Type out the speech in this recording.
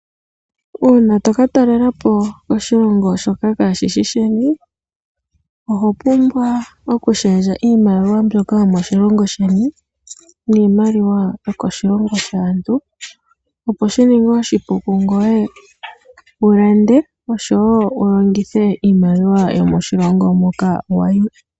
Uuna toka talelapo oshilongo shoka kashishi sheni, ohopumbwa okushendja iimaliwa mbyoka yomoshilongo sheni, niimaliwa yokoshilongo shaantu opo shininge oshipu kungoye wulande oshowo wulongethi iimaliwa yomoshilongo moka wayi.